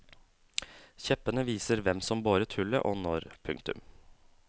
Kjeppene viser hvem som boret hullet og når. punktum